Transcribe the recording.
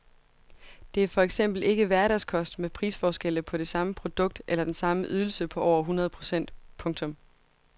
Det er for eksempel ikke hverdagskost med prisforskelle på det samme produkt eller den samme ydelse på over hundrede procent. punktum